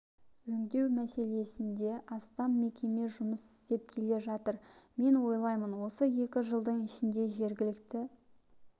өңдеу мәселесінде астам мекеме жұмыс істеп келе жатыр мен ойлаймын осы екі жылдың ішінде жергілікті